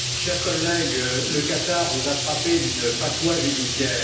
Cher collègue, le Qatar vous a frappé d'une fatwa judiciaire.